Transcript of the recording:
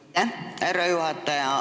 Aitäh, härra juhataja!